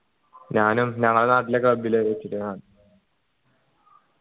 ഞാനും ഞങ്ങളെ നാട്ടിലെ club ൽ വെച്ചിട്ടാ